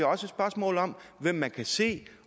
også et spørgsmål om hvem man kan se